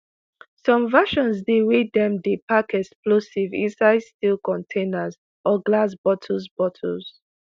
some versions dey wey dem dey pack explosives inside steel containers or glass bottles. bottles.